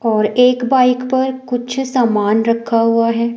और एक बाइक पर कुछ सामान रखा हुआ है।